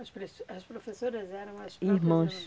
As as professoras eram as próprias irmãs? Irmãs.